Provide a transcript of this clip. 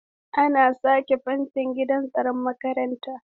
An sake fentin gidan tsaron makarantar.